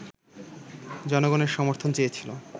জনগণের সমর্থন চেয়েছিল